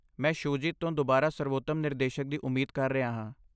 ਮੈਂ ਸ਼ੂਜੀਤ ਤੋਂ ਦੁਬਾਰਾ ਸਰਵੋਤਮ ਨਿਰਦੇਸ਼ਕ ਦੀ ਉਮੀਦ ਕਰ ਰਿਹਾ ਹਾਂ।